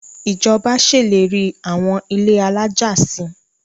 Ìjọba ṣèlérí àwọn ilé alájà si.